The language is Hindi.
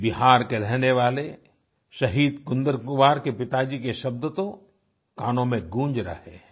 बिहार के रहने वाले शहीद कुंदन कुमार के पिताजी के शब्द तो कानों में गूँज रहे हैं